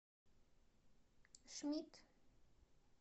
шмидт